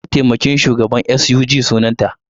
Tambayi mataimakin shugaban SUG sunanta!